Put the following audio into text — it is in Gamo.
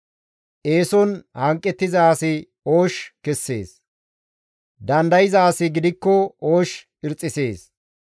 Eeson hanqettiza asi oosh kessees; dandayza asi gidikko oosh irxxisees.